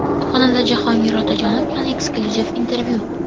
Xonanda Jahongir Otajonov bilan eksklyuziv intervyu.